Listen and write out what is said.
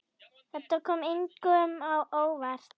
Þetta kom engum á óvart.